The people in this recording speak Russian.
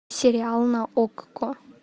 сериал на окко